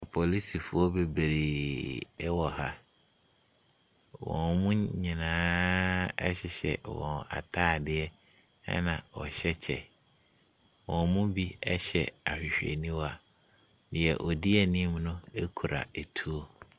Polisifoɔ bebreeee wɔ ha. Wɔn nyinaaaa Hyehyɛ wɔn atadeɛ ɛna wɔhyɛ kyɛ. Wɔn mu bi hyɛ ahwehwɛniwa. Deɛ ɔdi anim no kura tuo.